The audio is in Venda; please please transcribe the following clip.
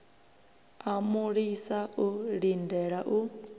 a mulisa o lindela u